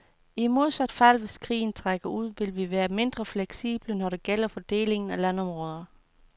I modsat fald, hvis krigen trækker ud, vil vi være mindre fleksible, når det gælder fordelingen af landområder.